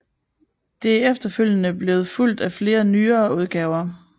Det er efterfølgende blevet fulgt af flere nyere udgaver